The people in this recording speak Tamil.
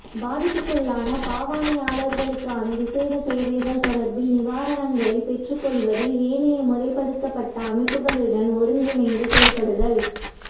பாதிப்புக்குள்ளான பாவனையாளர்களுக்கான விசேட சேவைகள் தொடர்பில் நிவாரணங்களைப் பெற்றுக் கொள்வதில் ஏனைய முறைப்படுத்தப்பட்ட அமைப்புக்களுடன் ஒருங்கிணைந்து செயற்படுதல்